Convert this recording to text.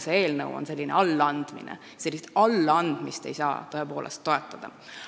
See eelnõu on natuke allaandmine ja sellist allaandmist ei saa tõepoolest toetada.